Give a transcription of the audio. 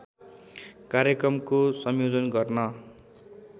कार्यक्रमको संयोजन गर्न